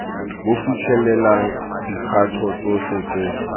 bo fitlhelelang dikgato tsotlhe tse